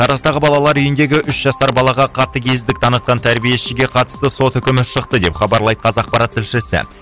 тараздағы балалар үйіндегі үш жасар балаға қатегездік танытқан тәрбиешіге қатысты сот үкімі шықты деп хабарлайды қазақпарат тілшісі